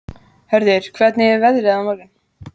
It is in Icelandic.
Hörður, hvernig er veðrið á morgun?